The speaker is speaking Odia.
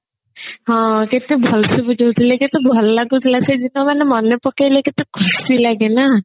ହଁ କେତେ ଭଲ ସେ ବୁଝୋଉଥିଲେ କେତେ ଭଲ ଲାଗୁଥିଲା ସେ ଯେତେବେଳେ ମନେ ପକେଇଲେ କେତେ ଖୁସି ଲାଗେ ନା